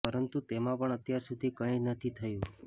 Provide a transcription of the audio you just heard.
પરંતુ તેમાં પણ અત્યાર સુધી કઈ નથી થયું